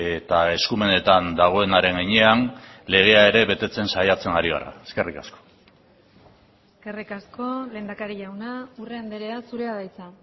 eta eskumenetan dagoenaren heinean legea ere betetzen saiatzen ari gara eskerrik asko eskerrik asko lehendakari jauna urrea andrea zurea da hitza